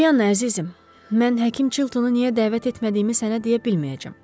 Polyana, əzizim, mən həkim Chilttonu niyə dəvət etmədiyimi sənə deyə bilməyəcəm.